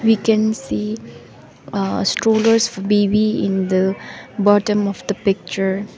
we can see ah strollers baby in the bottom of the picture.